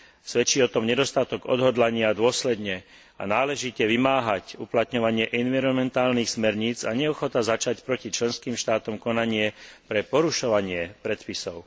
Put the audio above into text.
Svedčí o tom nedostatok odhodlania dôsledne a náležite vymáhať uplatňovanie environmentálnych smerníc a neochota začať proti členským štátom konanie pre porušovanie predpisov.